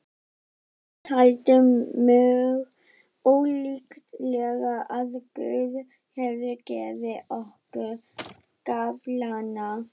Afi taldi mjög ólíklegt að Guð hefði gefið okkur gafflana.